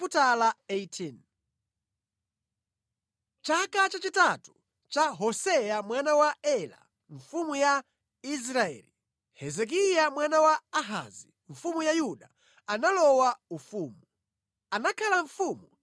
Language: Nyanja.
Mʼchaka chachitatu cha Hoseya mwana wa Ela mfumu ya Israeli, Hezekiya mwana wa Ahazi mfumu ya Yuda analowa ufumu.